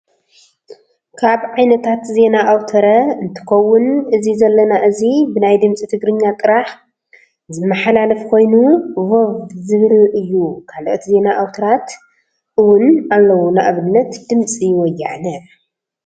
ካብ ዓይነታት ዜና ኣውትረ እንትከውን እዚ ዘና እዚ ብናይ ድምፂ ትግርኛ ጥራሕ ዝመሓላለፍ ኮይኑ ቮቭ ዝብል እዩ ካልኦት ዜና ኣውትራት እውን ኣለው ንኣብነት ድምፂ ወያነ።